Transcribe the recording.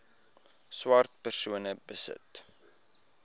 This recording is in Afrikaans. swart persone besit